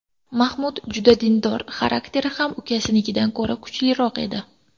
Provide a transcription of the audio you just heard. Mahmud juda dindor, xarakteri ham ukasinikidan ko‘ra kuchliroq edi.